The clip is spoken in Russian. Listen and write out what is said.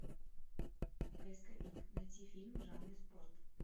поисковик найти фильм в жанре спорт